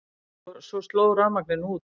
Og svo sló rafmagninu út.